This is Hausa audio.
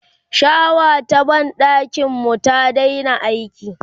shawa ta banɗakin mu ta Daina aiki